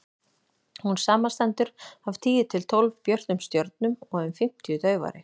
hún samanstendur af tíu til tólf björtum stjörnum og um fimmtíu daufari